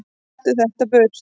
Taktu þetta burt!